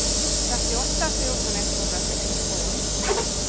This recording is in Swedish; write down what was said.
trettioåtta tusen etthundrasextiotvå